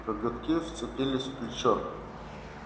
коготки вцепились в плечо